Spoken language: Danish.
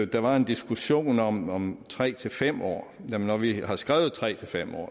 der var en diskussion om tre til fem år når vi har skrevet tre til fem år